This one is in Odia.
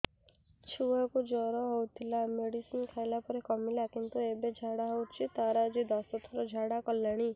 ଛୁଆ କୁ ଜର ହଉଥିଲା ମେଡିସିନ ଖାଇଲା ପରେ କମିଲା କିନ୍ତୁ ଏବେ ଝାଡା ହଉଚି ତାର ଆଜି ଦଶ ଥର ଝାଡା କଲାଣି